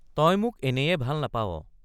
তই মোক এনেয়ে ভাল নাপাৱ।